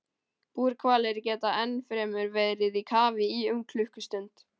Búrhvalir geta ennfremur verið í kafi í um klukkustund.